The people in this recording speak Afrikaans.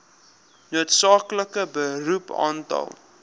noodsaaklike beroep aantal